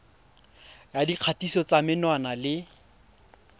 ya dikgatiso tsa menwana le